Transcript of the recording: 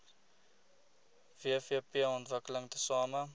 wvp ontwikkel tesame